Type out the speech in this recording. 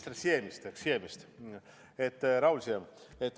Te räägite minister Siemist, Raul Siemist.